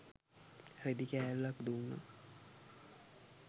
රෙදි කෑල්ලක් දුන්නා.